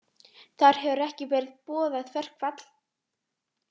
Þar hefur ekki verið boðað verkfall